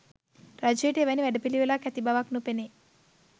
රජයට එවැනි වැඩපිළිවෙලක් ඇති බවක් නොපෙනේ.